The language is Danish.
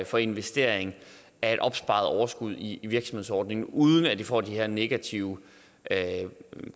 for investering af et opsparet overskud i virksomhedsordningen uden at det får de her negative